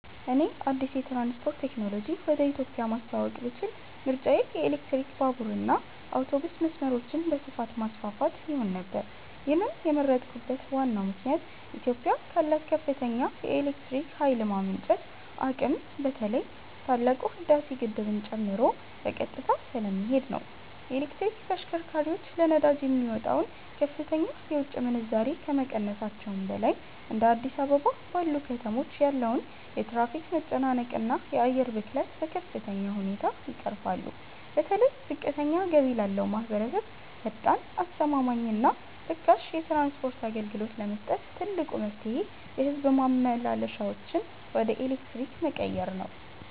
እኔ አዲስ የትራንስፖርት ቴክኖሎጂ ወደ ኢትዮጵያ ማስተዋወቅ ብችል ምርጫዬ የኤሌክትሪክ ባቡርና አውቶቡስ መስመሮችን በስፋት ማስፋፋት ይሆን ነበር። ይህንን የመረጥኩበት ዋናው ምክንያት ኢትዮጵያ ካላት ከፍተኛ የኤሌክትሪክ ኃይል የማመንጨት አቅም በተለይ ታላቁ የህዳሴ ግድብን ጨምሮ በቀጥታ ስለሚሄድ ነው። የኤሌክትሪክ ተሽከርካሪዎች ለነዳጅ የሚወጣውን ከፍተኛ የውጭ ምንዛሬ ከመቀነሳቸውም በላይ፤ እንደ አዲስ አበባ ባሉ ከተሞች ያለውን የትራፊክ መጨናነቅና የአየር ብክለት በከፍተኛ ሁኔታ ይቀርፋሉ። በተለይ ዝቅተኛ ገቢ ላለው ማኅበረሰብ ፈጣን፣ አስተማማኝና ርካሽ የትራንስፖርት አገልግሎት ለመስጠት ትልቁ መፍትሔ የሕዝብ ማመላለሻዎችን ወደ ኤሌክትሪክ መቀየር ነው።